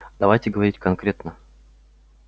давайте говорить конкретно